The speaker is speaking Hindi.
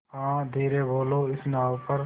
हाँ धीरे बोलो इस नाव पर